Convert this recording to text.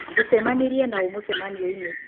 Ũcemanirĩe na ũ mũcemanioinĩ?